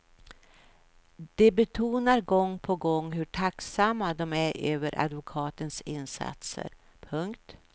De betonar gång på gång hur tacksamma de är över sina advokaters insatser. punkt